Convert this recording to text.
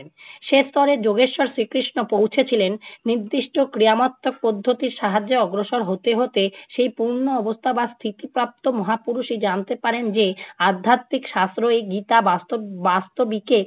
সে স্তরে যোগেশ্বর শ্রীকৃষ্ণ পৌঁছেছিলেন। নির্দিষ্ট ক্রিয়ামত্তক পদ্ধতির সাহায্যে অগ্রসর হতে হতে সেই পুণ্য অবস্থা বা স্থিতি প্রাপ্ত মহাপুরুষই জানতে পারেন যে আধ্যাত্বিক শাস্ত্র এই গীতা বাস্তব~ বাস্তবিকে